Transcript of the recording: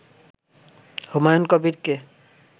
Humayun কবিরকে